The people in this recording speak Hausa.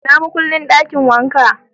Ina makullin dakin wanka?